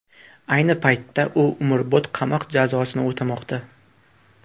Ayni paytda u umrbod qamoq jazosini o‘tamoqda.